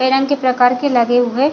बिरंग के प्रकार के लगे हुए--